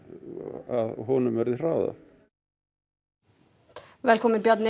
að honum verði hraðað velkominn Bjarni